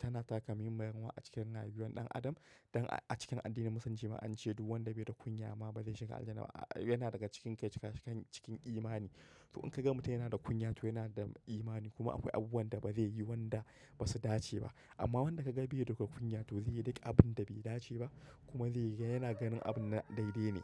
tana taka muhimmiyar rawa a cikin rayuwar ɗan adam. Don a cikin addinin Musulunci ma an ce duk wanda bai da kunya ma bai shiga Aljanna ba. Yana daga cikin ka cikin, cikin imani. To in ka ga mutum yana da kunya to yana da imani kuma akwai abubuwan da ba zai yi wanda ba su dace ba. Amma wanda ka ga bai da duk kunya to zai yi duk abin da bai dace ba kuma zai yana ganin abun na daidai ne.